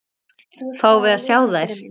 Fáum við að sjá þær?